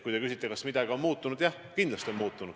Kui te küsite, kas midagi on muutunud, siis jah, kindlasti on muutunud.